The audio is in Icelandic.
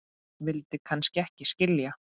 vildi kannski ekki skilja